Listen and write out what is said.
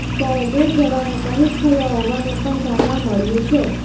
જ્યારે બે જવાનો શહીદ થયા હોવાનું પણ જાણવા મળ્યું છે